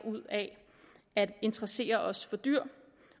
ud af at interessere os for dyr